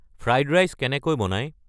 fried rice কেনেই বনায়